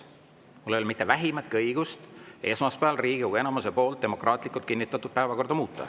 Mul ei ole mitte vähimatki õigust esmaspäeval Riigikogu enamuse poolt demokraatlikult kinnitatud päevakorda muuta.